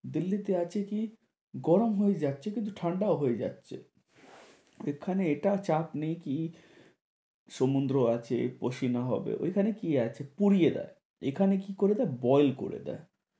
দিল্লিতে আছে কি, গরম হয়ে যাচ্ছে কিন্তু ঠান্ডা হয়েও যাচ্ছে এখানে এটা চাপ নেই কি সমুদ্র আছে হবে এখানে কি আছে পুড়িয়ে দেয়। এখানে কি করে না boil করে দেয়।